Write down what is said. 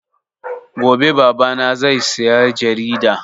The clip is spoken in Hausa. Gobe Baba na zai saya jarida